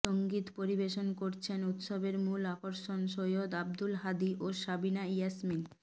সংগীত পরিবেশন করছেন উৎসবের মূল আকর্ষণ সৈয়দ আবদুল হাদী ও সাবিনা ইয়াসমীন